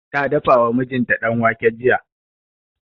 Ta dafa wa mijinta danwake jiya